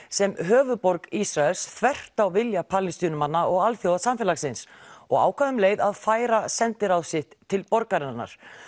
sem höfuðborg Ísraels þvert á vilja Palestínumanna og alþjóðasamfélagsins og ákvað um leið að færa sendiráð sitt til borgarinnar